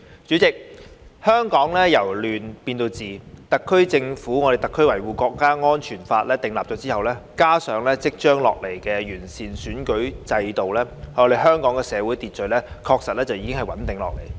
主席，香港由亂變治，《中華人民共和國香港特別行政區維護國家安全法》的訂立，加上即將落實的完善的選舉制度，香港社會秩序確實已經穩定下來。